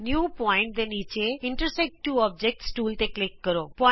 new point ਦੇ ਨੀਚੇ intersect two objects tool ਤੇ ਕਲਿਕ ਕਰੋ